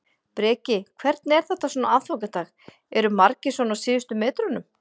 Breki: Hvernig er þetta svona á aðfangadag, eru margir svona á síðustu metrunum?